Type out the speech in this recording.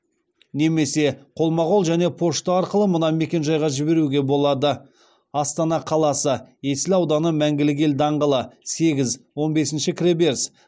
немесе қолма қол және пошта арқылы мына мекен жайға жіберуге болады астана қаласы есіл ауданы мәңгілік ел даңғылы сегіз он бесінші кіреберіс